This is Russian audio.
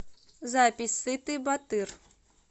запись сытый батыр